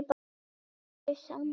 Eiga þau saman tvo syni.